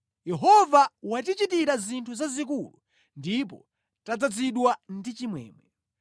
Yehova watichitira zinthu zazikulu, ndipo tadzazidwa ndi chimwemwe.